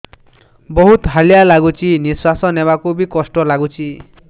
ବହୁତ୍ ହାଲିଆ ଲାଗୁଚି ନିଃଶ୍ବାସ ନେବାକୁ ଵି କଷ୍ଟ ଲାଗୁଚି